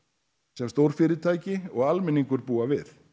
sem stórfyrirtæki og almenningur búa við